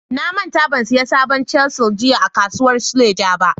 Na manta ban siyan sabon chisel jiya a kasuwar suleja.